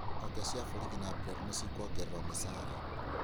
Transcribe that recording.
Honge cia borithi na mbĩrarũ nĩcikwongererwo mĩcara